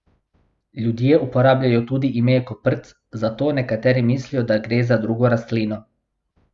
Ljudje uporabljajo tudi ime koprc, zato nekateri mislijo, da gre za drugo rastlino.